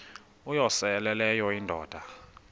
uyosele leyo indoda